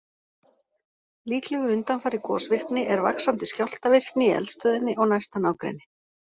Líklegur undanfari gosvirkni er vaxandi skjálftavirkni í eldstöðinni og næsta nágrenni.